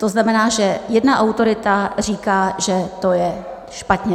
To znamená, že jedna autorita říká, že to je špatně.